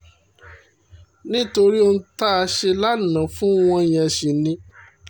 nítorí ohun tá a ṣe lánàá fún wọn yẹn sì ni